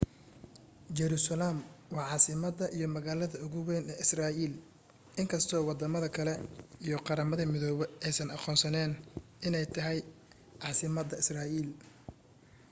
jerusalem waa caasimada iyo magaalada ugu weyn ee israel inkasto wadamada kale iyo qaramada midoobe aysan aqoonsanen iney tahay casimada israel